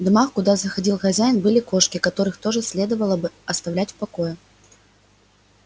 в домах куда заходил хозяин были кошки которых тоже следовало бы оставлять в покое